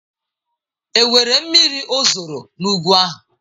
Enwere miri ozoro n'ugwu ahụ?